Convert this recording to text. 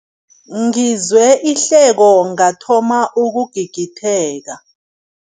Ngizwe ihleko ngathoma ukugigitheka.